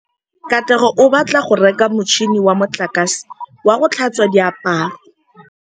Katlego o batla go reka motšhine wa motlakase wa go tlhatswa diaparo.